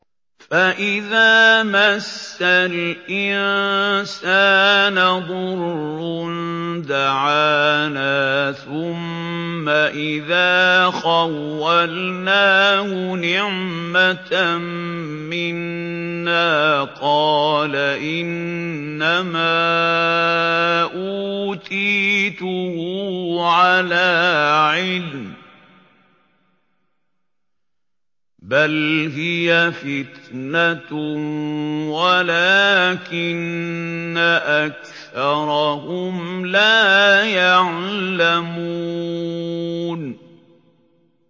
فَإِذَا مَسَّ الْإِنسَانَ ضُرٌّ دَعَانَا ثُمَّ إِذَا خَوَّلْنَاهُ نِعْمَةً مِّنَّا قَالَ إِنَّمَا أُوتِيتُهُ عَلَىٰ عِلْمٍ ۚ بَلْ هِيَ فِتْنَةٌ وَلَٰكِنَّ أَكْثَرَهُمْ لَا يَعْلَمُونَ